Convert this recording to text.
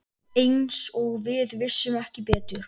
Eins og við vissum ekki betur.